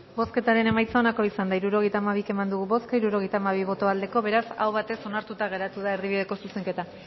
bozketaren emaitza onako izan da hirurogeita hamabi eman dugu bozka hirurogeita hamabi boto aldekoa beraz aho batez onartuta geratu da erdibideko zuzenketa